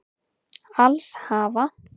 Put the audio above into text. Alls hafa